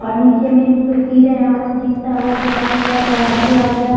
और नीचे में भी जो कीड़े हैं वह अजीब सा हो गया है पीला तरह से और यह --